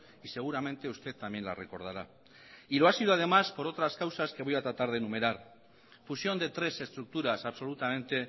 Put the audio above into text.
y seguramente usted también la recordará y lo ha sido además por otras causas que voy a tratar de enumerar fusión de tres estructuras absolutamente